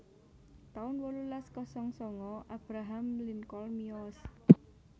taun wolulas kosong sanga Abraham Lincoln miyos